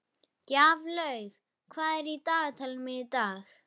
Gjaflaug, hvað er á dagatalinu mínu í dag?